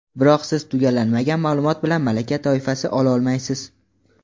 Biroq siz tugallanmagan maʼlumot bilan malaka toifasi ololmaysiz.